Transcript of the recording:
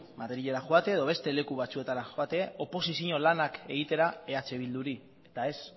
madrilera joatea edo beste leku batzuetara joatea oposizio lanak egitera eh bilduri eta ez